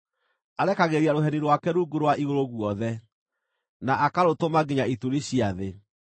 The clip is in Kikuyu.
Arekagĩrĩria rũheni rwake rungu rwa igũrũ guothe na akarũtũma nginya ituri cia thĩ.